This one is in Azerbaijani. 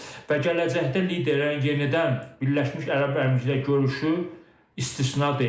Və gələcəkdə liderlərin yenidən Birləşmiş Ərəb Əmirlikləri görüşü istisna deyil.